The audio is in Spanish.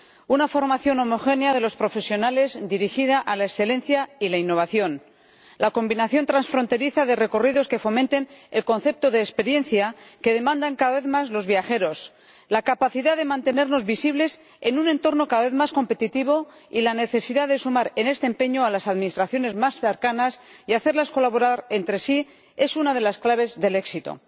Una formación homogénea de los profesionales dirigida a la excelencia y la innovación, la combinación transfronteriza de recorridos que fomenten el concepto de experiencia que demandan cada vez más los viajeros, la capacidad de mantenernos visibles en un entorno cada vez más competitivo y la necesidad de sumar en este empeño a las administraciones más cercanas y hacerlas colaborar entre sí es una de las claves del éxito.